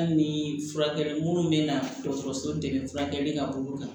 Hali ni furakɛli munnu bɛ na dɔgɔtɔrɔso dɛmɛ furakɛli ka bolo kan